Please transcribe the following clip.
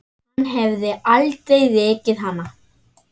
Hann hefði aldrei rekið hana.